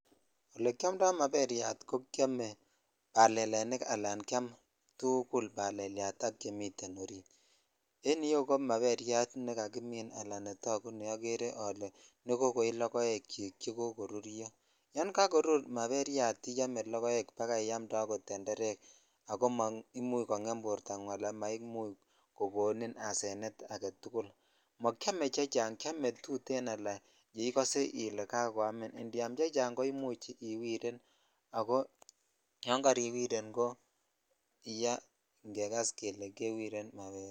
Ole kiomndo maberyrat ko kiome balelenikala kiamtugul balelyat ak a chemuten orit en iyeu ko maberyat nekakimin ala netoguk neokere nekokoi lokoek chik chekokoruryo yan kakorur marryat iyome lokoet bakai iyamtee akot tetereek ako amaimuch kongem bortangung ala maimuch kokonin asenet agetukl mokiome chechang kiome tuten che ikose ile kakoamin indiam chechang ko imuch iwiren ako yan kariwiret ko yaa in kekas kele kewiren maberek.